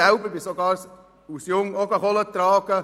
Ich selber ging als Junge auch Kohle tragen.